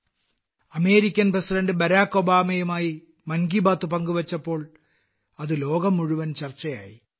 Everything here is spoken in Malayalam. അന്നത്തെ അമേരിക്കൻ പ്രസിഡന്റ് ബരാക് ഒബാമയുമായി മൻ കി ബാത്ത് പങ്കുവെച്ചപ്പോൾ അത് ലോകം മുഴുവൻ ചർച്ചയായി